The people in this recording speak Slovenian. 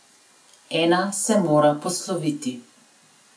Ena se mora posloviti.